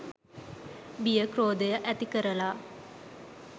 බිය ක්‍රෝධය ඇති කරලා